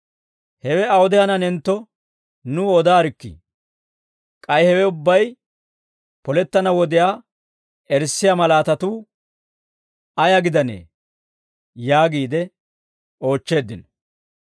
«Hewe awude hananentto, nuw odaarikkii; k'ay hewe ubbay polettana wodiyaa erissiyaa mallatuu ayaa gidanee?» yaagiide oochcheeddino.